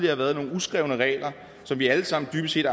har været nogle uskrevne regler som vi alle sammen dybest set